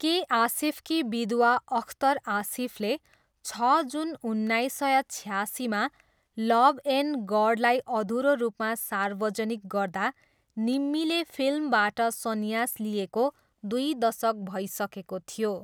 के आसिफकी विधवा अख्तर आसिफले छ जुन उन्नाइस सय छयासीमा लभ एन्ड गडलाई अधुरो रूपमा सार्वजिक गर्दा निम्मीले फिल्मबाट सन्यास लिएको दुई दशक भइसकेको थियो।